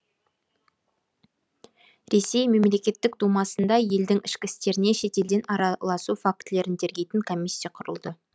ресей мемлекеттік думасында елдің ішкі істеріне шетелден араласу фактілерін тергейтін комиссия құрылды